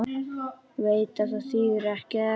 Veit að það þýðir ekkert.